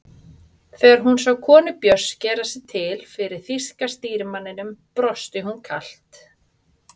Þegar hún sá konu Björns gera sig til fyrir þýska stýrimanninum brosti hún kalt.